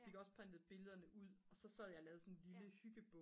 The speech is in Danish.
fik også printet billederne ud og så sad jeg og lavede sådan en lille hyggebog